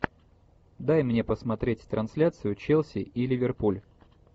дай мне посмотреть трансляцию челси и ливерпуль